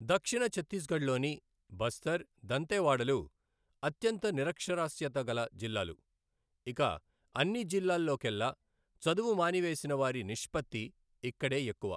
దక్షిణ ఛత్తీస్గఢ్లోని బస్తర్, దంతెవాడలు అత్యంత నిరక్షరాస్యత గల జిల్లాలు, ఇక అన్నీ జిల్లాల్లోకెల్లా చదువు మానివేసిన వారి నిష్పత్తి ఇక్కడే ఎక్కువ.